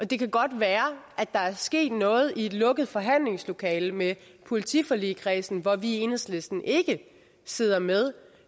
det kan godt være at der er sket noget i et lukket forhandlingslokale med politiforligskredsen hvor vi i enhedslisten ikke sidder med